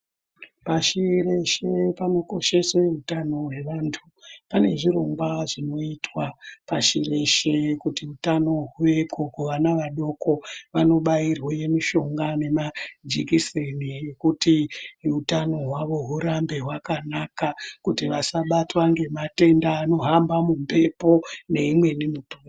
Pashi reshe panokosheswe utano hwevanthu. Pane zvirongwa zvinoitwa pashi reshe kuti utano huveko kuvana vadoko, vanobairwa mishonga nemajikiseni ekuti utano hwavo hurambe hwakanaka kuti vasabatwa ngematenda anohamba mumbepo neimweni....